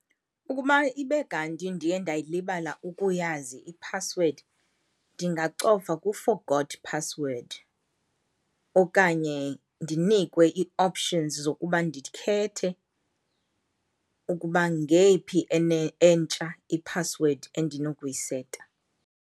Ukuba ibe kanti ndiye ndayilibala ukuyazi iphasiwedi, ndingacofa ku-forgot password okanye ndinikwe ii-options zokuba ndikhethe ukuba ngeyiphi entsha iphasiwedi endinokuyiseta.